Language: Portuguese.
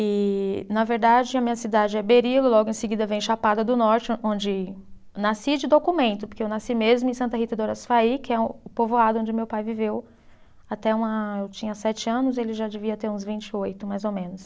E, na verdade, a minha cidade é Berilo, logo em seguida vem Chapada do Norte, onde nasci de documento, porque eu nasci mesmo em Santa Rita do Araçuaí, que é o povoado onde meu pai viveu até uma, eu tinha sete anos, ele já devia ter uns vinte e oito, mais ou menos.